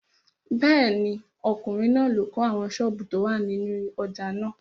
Bẹ́ẹ̀ni, ọkùnrin náà ló kọ́ àwọn sọ́ọ̀bù tó wà nínú ojà náà.